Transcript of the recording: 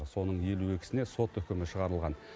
соның елу екісіне сот үкімі шығарылған